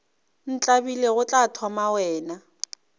ntlabile go tla thoma wena